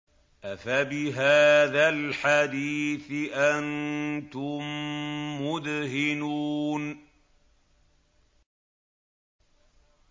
أَفَبِهَٰذَا الْحَدِيثِ أَنتُم مُّدْهِنُونَ